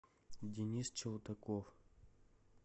денис челтаков